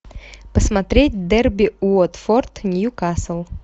посмотреть дерби уотфорд ньюкасл